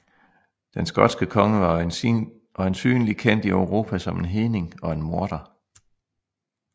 Den skotske konge var øjensynlig kendt i Europa som en hedning og en morder